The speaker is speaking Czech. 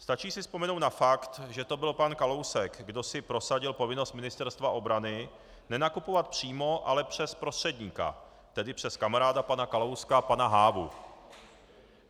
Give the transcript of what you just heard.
Stačí si vzpomenout na fakt, že to byl pan Kalousek, kdo si prosadil povinnost Ministerstva obrany nenakupovat přímo, ale přes prostředníka, tedy přes kamaráda pana Kalouska pana Hávu.